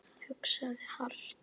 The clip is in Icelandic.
Hugsum hart.